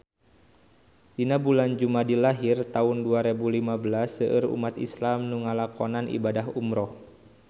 Dina bulan Jumadil ahir taun dua rebu lima belas seueur umat islam nu ngalakonan ibadah umrah